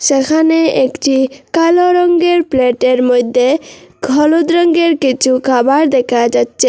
যেখানে একটি কালো রঙ্গের প্লেটের মইদ্যে খলুদ রঙ্গের কিছু খাবার দেখা যাচ্চে।